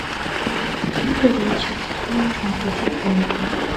добрый вечер вам нужно включить тнт